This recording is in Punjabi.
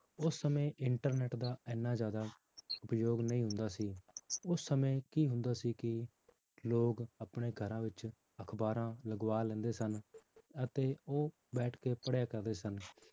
ਉਸ ਸਮੇਂ internet ਦਾ ਇੰਨਾ ਜ਼ਿਆਦਾ ਉਪਯੋਗ ਨਹੀਂ ਹੁੰਦਾ ਸੀ ਉਸ ਸਮੇਂ ਕੀ ਹੁੰਦਾ ਸੀ ਕਿ ਲੋਕ ਆਪਣੇ ਘਰਾਂ ਵਿੱਚ ਅਖ਼ਬਾਰਾਂ ਲਗਵਾ ਲੈਂਦੇ ਸਨ ਅਤੇ ਉਹ ਬੈਠ ਕੇ ਪੜ੍ਹਿਆ ਕਰਦੇ ਸਨ